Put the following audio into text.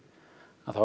þá